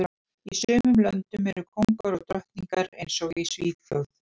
Í sumum löndum eru kóngar og drottningar eins og í Svíþjóð